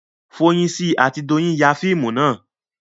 Foyinsi àti Doyin ya fíìmù náà